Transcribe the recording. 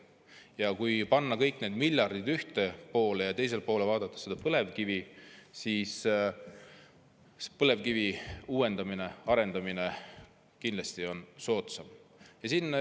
Kui panna ühele poolele kõik need miljardid ja teisele poole põlevkivi, siis näeme, et põlevkivi arendamine oleks kindlasti soodsam.